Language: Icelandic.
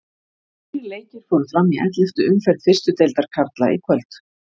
Þrír leikir fóru fram í elleftu umferð fyrstu deildar karla í kvöld.